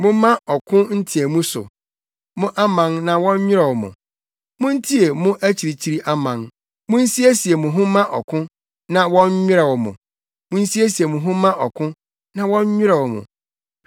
Momma ɔko nteɛmu so, mo aman na wɔnnwerɛw mo! Muntie mo akyirikyiri aman. Munsiesie mo ho mma ɔko, na wɔnnwerɛw mo! Munsiesie mo ho mma ɔko, na wɔnnwerɛw mo!